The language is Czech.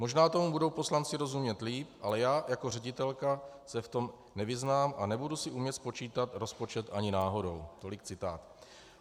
"Možná tomu budou poslanci rozumět líp, ale já jako ředitelka se v tom nevyznám a nebudu si umět spočítat rozpočet ani náhodou."